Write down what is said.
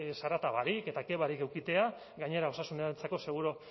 zarata barik eta ke barik edukitea gainera osasunarentzako seguru